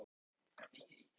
Það er bara ekki hægt